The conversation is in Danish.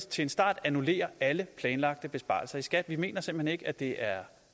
til en start annullere alle planlagte besparelser i skat vi mener simpelt hen ikke at det er